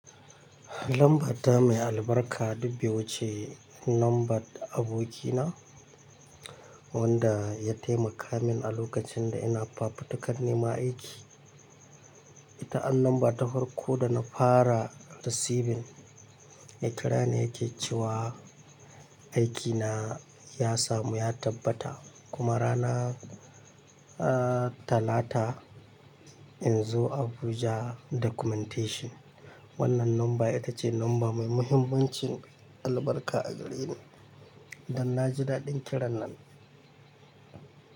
Lamba ta mai albarka duk bai wuce, lambar da abokina wanda ya taimaka min a lokacin da ina fafutukar neman aiki. Ita an namba ta farko dana fara receiving, ya kira ni yake cewa aikina ya samu ya tabbata kuma rana, ah, Talata in zo Abuja documentation. Wannan lamba ita ce lamba mai muhimmancin albarka a gare ni, dan naji daɗin kiran nan.